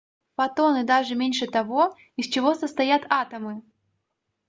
фотоны даже меньше того из чего состоят атомы